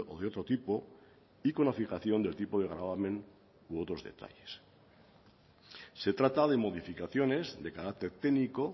de otro tipo y con la fijación del tipo de gravamen u otros detalles se trata de modificaciones de carácter técnico